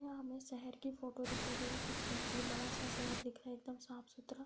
यह हमे शहर की फोटो दिखाई दे रही है कुछ बहोत ही बड़ा-सा शहर दिख रहा एकदम साफ-सुथरा।